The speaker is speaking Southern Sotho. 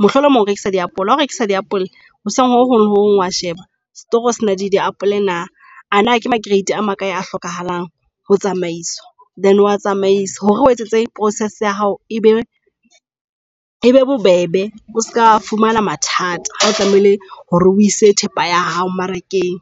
Mohlomong o rekisa diapole ha o rekisa diapole hoseng ho hong le hong wa sheba setoro se na le diapole na. Ana ke ma grade a makae a hlokahalang ho tsamaiswa. Then oa tsamaise hore o etsetse process ya hao e be e bobebe o ska fumana mathata ha o tlamehile hore o ise thepa ya hao mmarakeng.